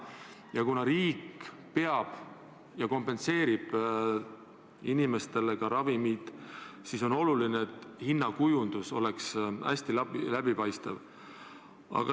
Ja kuna riik osaliselt kompenseerib inimestele ravimite hinda, siis on oluline, et hinnakujundus oleks hästi läbipaistev.